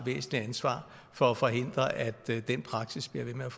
væsentligt ansvar for at forhindre at den praksis bliver ved med